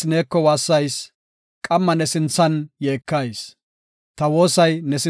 Ta woosay ne sinthe gako; ne haythay ta waasuwa si7o.